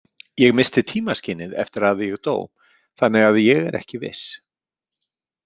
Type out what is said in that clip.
Ég missti tímaskynið eftir að ég dó þannig að ég er ekki viss.